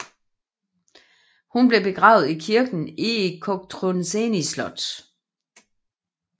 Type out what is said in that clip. Hun blev begravet i kirken i Cotroceni Slot